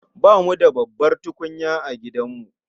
Bamu da babbar tukunya a gidanmu